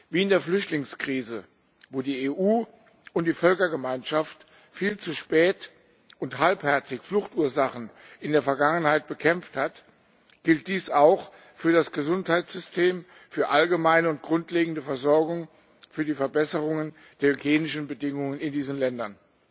Wie in der Flüchtlingskrise, wo die EU und die Völkergemeinschaft viel zu spät und halbherzig Fluchtursachen in der Vergangenheit bekämpft hat, gilt dies auch für das Gesundheitssystem, für allgemeine und grundlegende Versorgung, für die Verbesserungen der hygienischen Bedingungen in diesen Ländern.